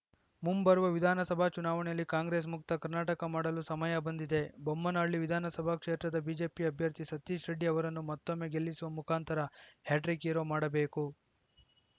ಮುಂಬರುವ ವಿಧಾನಸಭಾ ಚುನಾವಣೆಯಲ್ಲಿ ಕಾಂಗ್ರೆಸ್‌ ಮುಕ್ತ ಕರ್ನಾಟಕ ಮಾಡಲು ಸಮಯ ಬಂದಿದೆ ಬೊಮ್ಮನಹಳ್ಳಿ ವಿಧಾನಸಭಾ ಕ್ಷೇತ್ರದ ಬಿಜೆಪಿ ಅಭ್ಯರ್ಥಿ ಸತೀಶ್‌ ರೆಡ್ಡಿ ಅವರನ್ನು ಮತ್ತೊಮ್ಮೆ ಗೆಲ್ಲಿಸುವ ಮುಖಾಂತರ ಹ್ಯಾಟ್ರಿಕ್‌ ಹೀರೋ ಮಾಡಬೇಕು